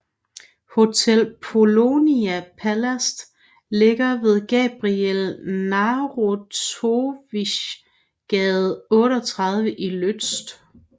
Hotel Polonia Palast ligger ved Gabriel Narutowicz gade 38 i Łódź